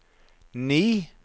ni